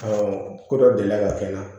ko dɔ delila ka kɛ n na